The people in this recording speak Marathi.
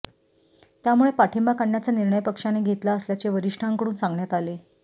त्यामुळे पाठिंबा काढण्याचा निर्णय पक्षाने घेतला असल्याचे वरिष्ठांकडून सांगण्यात आले